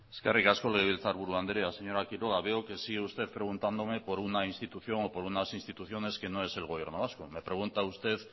eskerrik asko legebiltzarkiburu andrea señora quiroga veo que sigue usted preguntándome por una institución o por unas instituciones que no es el gobierno vasco me pregunta usted